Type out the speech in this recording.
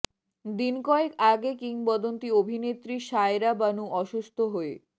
দিন কয়েক আগে কিংবদন্তী অভিনেত্রী শায়রা বানু অসুস্থ হয়ে